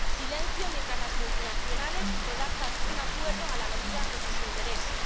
silencio mientras las multinacionales redactan un acuerdo a la medida de sus intereses.